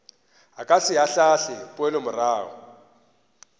o ka se ahlaahle poelomorago